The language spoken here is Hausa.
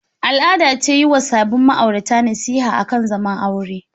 Al'ada ce yi wa sabin ma'aurata nasiha akan zaman aure.